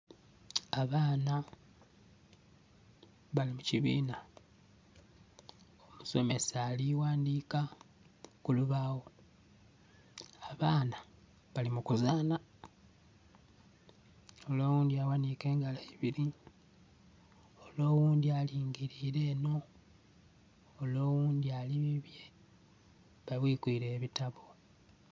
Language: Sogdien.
Abaana bali mu kibiina. Omusomesa ali ghandika ku lubaawo. Abaana bali mu kuzanha. Ole owundhi aghanike engalo ibiri, ole owundhi alingilire enho, ole owundhi ali bibye. Babwikwile ebitabo.